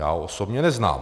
Já ho osobně neznám.